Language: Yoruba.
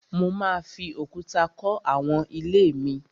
Mo máa fi òkúta kọ́ àwọn ilé mi